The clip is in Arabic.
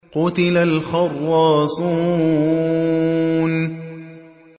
قُتِلَ الْخَرَّاصُونَ